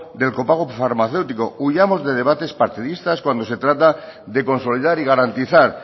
del copago farmacéutico huyamos de debates partidistas cuando se trata de consolidar y garantizar